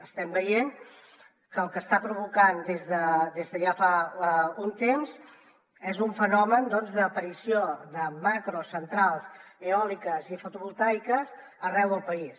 estem veient que el que està provocant des de ja fa un temps és un fenomen d’aparició de macrocentrals eòliques i fotovoltaiques arreu del país